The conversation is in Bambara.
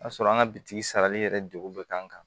O y'a sɔrɔ an ka bitiki sarali yɛrɛ degun bɛ k'an kan